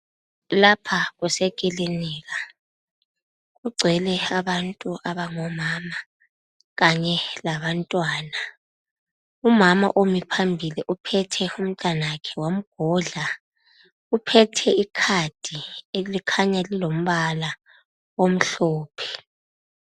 Lapha kusekilinika kugcwele abantu abango mama kanye labantwana . Umama omi phambili uphethe umtanakhe wamgodla . Uphethe icard elikhanya lilombala omhlophe.